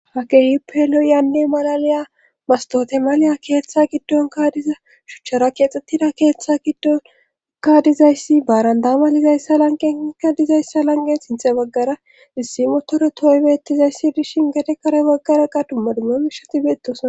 hakeyuppelo yaanne malalaya mastotemaliya keeththa giddon kaadiza shuchchara keexxettida keeththa giddon kaadizayssi baarandama dizayssa lanqenka dizayssa lanqe sinthe baggara issi motoro tooybettizayssi dishin gate kare baggaraqa dumma dumma mishati beettosna